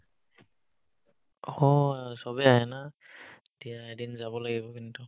হ চবে আহে না এতিয়া এদিন যাব লাগিব কিন্তু